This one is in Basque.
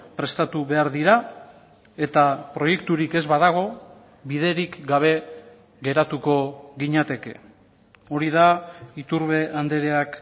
prestatu behar dira eta proiekturik ez badago biderik gabe geratuko ginateke hori da iturbe andreak